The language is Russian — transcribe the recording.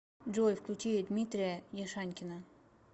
джой включи дмитрия яшанькина